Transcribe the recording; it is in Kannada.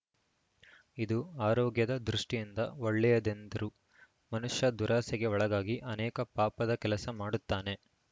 ಇದು ಆರೋಗ್ಯದ ದೃಷ್ಟಿಯಿಂದ ಒಳ್ಳೆಯದೆಂದರು ಮನುಷ್ಯ ದುರಾಸೆಗೆ ಒಳಗಾಗಿ ಅನೇಕ ಪಾಪದ ಕೆಲಸ ಮಾಡುತ್ತಾನೆ